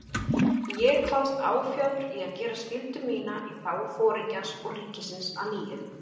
Ég kvaðst áfjáður í að gera skyldu mína í þágu Foringjans og ríkisins að nýju.